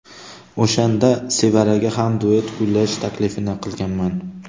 O‘shanda Sevaraga ham duet kuylash taklifini qilganman.